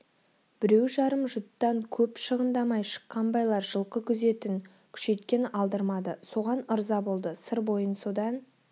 біреу-жарым жұттан көп шығындамай шыққан байлар жылқы күзетін күшейткен алдырмады соған ырза болды сыр бойын содан